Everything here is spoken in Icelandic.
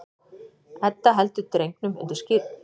Edda heldur drengnum undir skírn.